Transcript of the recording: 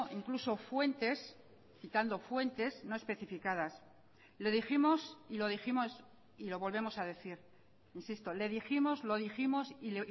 incluso fuentes citando fuentes no especificadas le dijimos y lo dijimos y lo volvemos a decir insisto le dijimos lo dijimos y